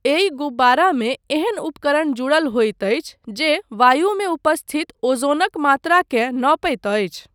एहि गुब्बारामे एहन उपकरण जुड़ल होइत अछि जे वायुमे उपस्थित ओज़ोनक मात्राकेँ नपैत अछि।